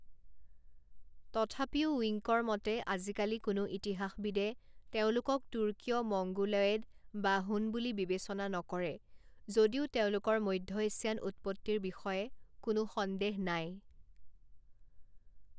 তথাপিও উইঙ্কৰ মতে আজিকালি কোনো ইতিহাসবিদে তেওঁলোকক তুৰ্কীয় মঙ্গোলয়েড বা হুন বুলি বিবেচনা নকৰে যদিও তেওঁলোকৰ মধ্য এছিয়ান উৎপত্তিৰ বিষয়ে কোনো সন্দেহ নাই।